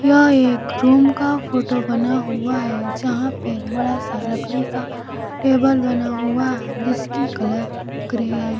यह एक रूम का फोटो बना हुआ है जहां पे बड़ा सा लकड़ी का टेबल बना हुआ है जिसकी कलर ग्रे हैं।